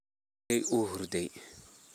Walalkey uuhurdey.